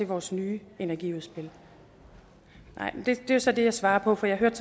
vores nye energiudspil nej men det er så det jeg svarer på for jeg hørte